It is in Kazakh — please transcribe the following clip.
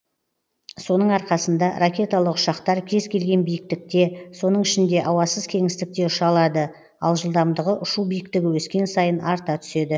соның арқасында ракеталық ұшақтар кез келген биіктікте соның ішінде ауасыз кеңістікте ұша алады ал жылдамдығы ұшу биіктігі өскен сайын арта түседі